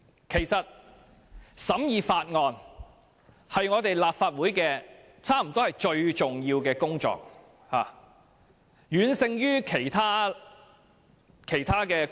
其實，審議法案可說是立法會最重要的工作，遠勝於其他工作。